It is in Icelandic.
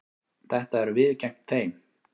Þetta eru við gegn þeim.